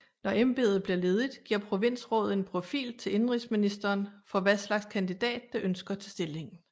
Når embedet bliver ledigt giver provinsrådet en profil til indenrigsministeren for hvad slags kandidat det ønsker til stillingen